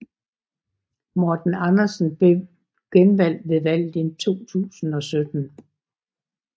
Morten Andersen blev genvalgt ved valget i 2017